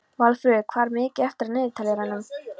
Valfríður, hvað er mikið eftir af niðurteljaranum?